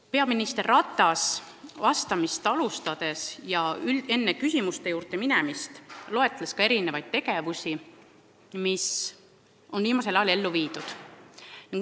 Peaminister Ratas loetles vastamist alustades ja enne küsimuste juurde minemist mitmesuguseid samme, mis on viimasel ajal astutud.